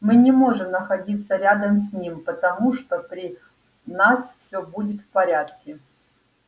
мы не можем находиться рядом с ним потому что при нас все будет в порядке